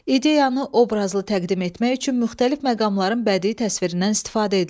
İdeyanı obrazlı təqdim etmək üçün müxtəlif məqamların bədii təsvirindən istifadə edilir.